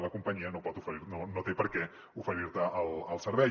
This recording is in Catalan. la companyia no pot no té per què oferir te el servei